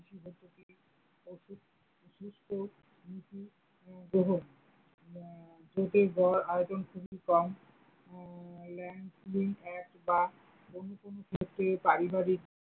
সুস্থ দেহ আয়োজন খুবই কম উম অন্য কোনো ক্ষেত্রে পারিবারিক।